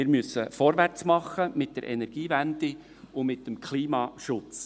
Wir müssen vorwärts machen mit der Energiewende und mit dem Klimaschutz.